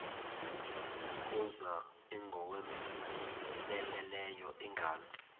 kuza ingowomeleleyo ingalo